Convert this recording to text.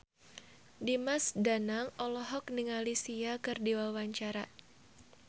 Dimas Danang olohok ningali Sia keur diwawancara